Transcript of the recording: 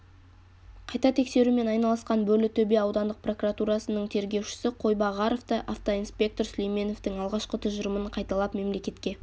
қайта тексерумен айналысқан бөрлітөбе аудандық прокуратурасының тергеушісі қойбағаров та автоинспектор сүлейменовтің алғашқы тұжырымын қайталап мемлекетке